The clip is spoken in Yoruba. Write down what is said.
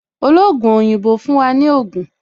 Ologun oyinbo fún wa ní Ogun